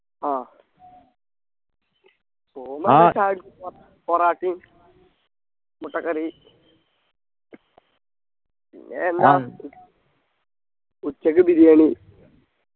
ആഹ് പോവുമ്പ പൊറാട്ടയും മുട്ടക്കറി പിന്നെ എല്ലാം ഉച്ചക്ക് ബിരിയാണി